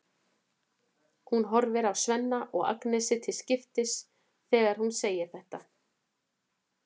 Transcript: Hún horfir á Svenna og Agnesi til skiptis þegar hún segir þetta.